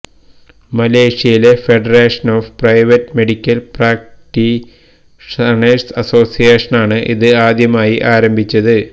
മലേഷ്യയിലെ federation of private medical practitioners അസോസിയേഷനാണ് ഇത് ആദ്യമായി ആരംഭിച്ചത്